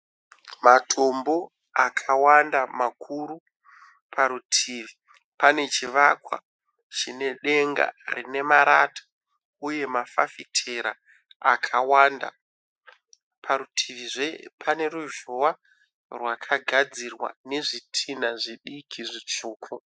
Matombo akawanda makuru. Parutivi pane chivakwa chine denga rine marata uye mafafitera akawanda. Parutivizve pane ruzhowa rwakagadzirwa nezvitinha zvidiki zvitsvuku.